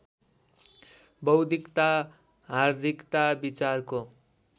बौद्धिकता हार्दिकता विचारको